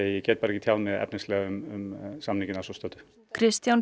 get ekki tjáð mig efnislega um samninginn að svo stöddu Kristján